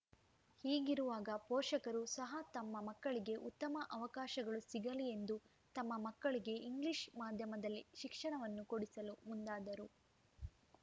ಹೀಗಿರುವಾಗ ಪೋಷಕರು ಸಹ ತಮ್ಮ ಮಕ್ಕಳಿಗೆ ಉತ್ತಮ ಅವಕಾಶಗಳು ಸಿಗಲಿ ಎಂದು ತಮ್ಮ ಮಕ್ಕಳಿಗೆ ಇಂಗ್ಲಿಷ್‌ ಮಾಧ್ಯಮದಲ್ಲಿ ಶಿಕ್ಷಣವನ್ನು ಕೊಡಿಸಲು ಮುಂದಾದರು